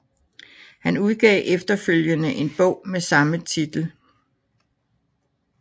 Han udgav efterfølgende en bog med samme titel